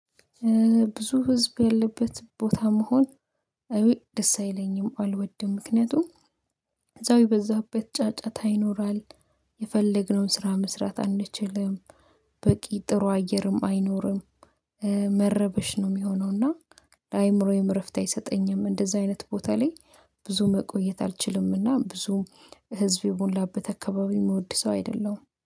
ብዙ ህዝብ ያለበት ቦታ መሆን አይ ደስ አይለኝም አልወድም ምክንያቱም ከዛው የበዛበት ጫጫታ ይኖራል የፈለግነውን ስራ መስራት አንችልም። በቂ ጥሩ አየርም አይኖርም። መረበሽ ነው የሚሆነው እና ለአእምሮዬም እረፍት አይሰጠኝም እንደዚህ አይነት ቦታ ላይ ብዙ መቆየት አልችልምና። ብዙ ህዝብ የሞላበት አካባቢ የምወድ ሰው አይደለሁም